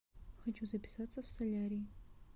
хочу записаться в солярий